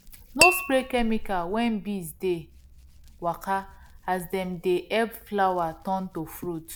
no spray chemical when bees dey waka as dem dey help flower turn to fruit